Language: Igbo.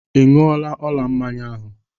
Ị ñyu ọla mmanya ahụ?